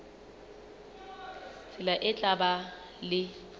tsela e tla ba le